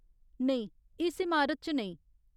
नेईं, इस इमारत च नेईं।